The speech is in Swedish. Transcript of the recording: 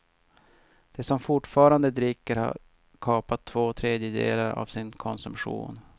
De som fortfarande dricker har kapat två tredjedelar av sin konsumtion.